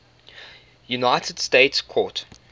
united states court